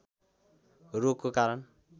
रोगको कारण